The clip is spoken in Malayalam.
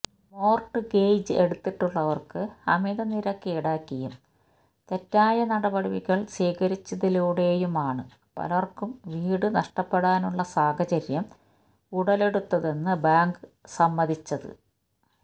മോർട്ട്ഗേജ് എടുത്തിട്ടുള്ളവർക്ക് അമിത നിരക്ക് ഈടാക്കിയും തെറ്റായ നടപടികൾ സ്വീകരിച്ചതിലൂടെയുമാണ് പലർക്കും വീടു നഷ്ടപ്പെടാനുള്ള സാഹചര്യം ഉടലെടുത്തതെന്ന് ബാങ്ക് സമ്മതിച്ചത്